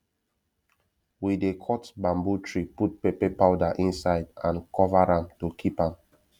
we dey cut bamboo tree put pepper powder inside and cover am to keep am